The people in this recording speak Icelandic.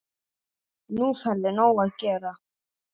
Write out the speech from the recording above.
Nú færðu nóg að gera